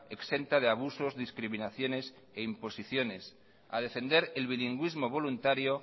exenta de abusos discriminaciones e imposiciones a defender el bilingüismo voluntario